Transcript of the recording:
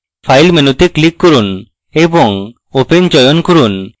file মেনুতে click করুন এবং open চয়ন করুন